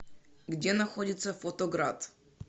где находится фотоград